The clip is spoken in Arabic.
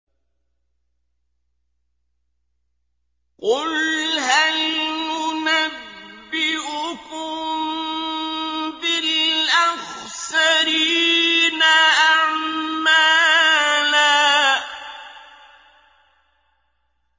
قُلْ هَلْ نُنَبِّئُكُم بِالْأَخْسَرِينَ أَعْمَالًا